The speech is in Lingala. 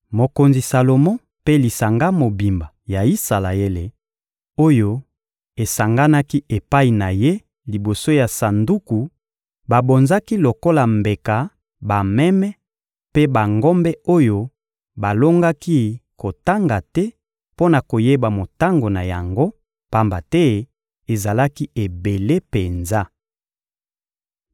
Mokonzi Salomo mpe lisanga mobimba ya Isalaele oyo esanganaki epai na ye liboso ya Sanduku babonzaki lokola mbeka bameme mpe bangombe oyo balongaki kotanga te mpo na koyeba motango na yango, pamba te ezalaki ebele penza.